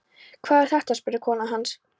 Hver var þetta? spurði kona hans.